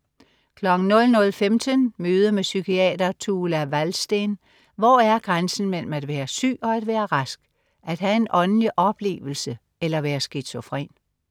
00.15 Møde med psykiater Tuula Wallsten. Hvor er grænsen mellem at være syg og at være rask, at have en åndelig oplevelse eller være skizofren?